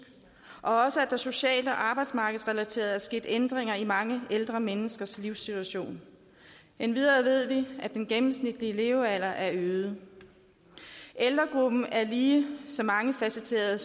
og at der også socialt og arbejdsmarkedsrelateret er sket ændringer i mange ældre menneskers livssituation endvidere ved vi at den gennemsnitlige levealder er øget ældregruppen er lige så mangefacetteret